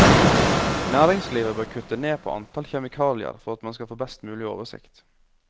Næringslivet bør kutte ned på antall kjemikalier for at man skal få best mulig oversikt.